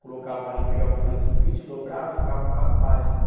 colocavam ali, pegavam uma folha de sulfite, dobravam e ficavam quatro páginas, né?